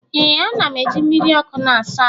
Ee, a na'm eji mmiri ọkụ na-asa ahụ.